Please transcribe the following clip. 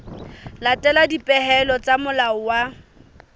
latela dipehelo tsa molao wa